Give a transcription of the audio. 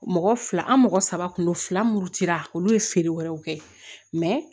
Mɔgɔ fila an mɔgɔ saba kundo fila mun cira olu ye feere wɛrɛw kɛ